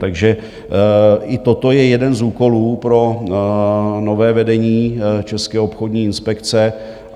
Takže i toto je jeden z úkolů pro nové vedení České obchodní inspekce.